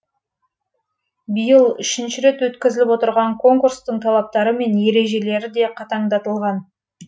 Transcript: биыл үшінші рет өткізіліп отырған конкурстың талаптары мен ережелері де қатаңдатылған